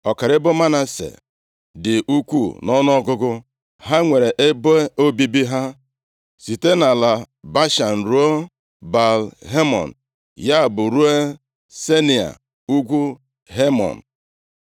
Ọkara ebo Manase dị ukwuu nʼọnụọgụgụ; ha nwere ebe obibi ha site nʼala Bashan ruo Baal-Hemon, ya bụ, ruo Senia, ugwu Hemon.